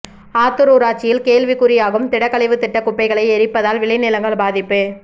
ஆத்தூர் ஊராட்சியில் கேள்விக்குறியாகும் திடக்கழிவு திட்டம் குப்பைகளை எரிப்பதால் விளைநிலங்கள் பாதிப்பு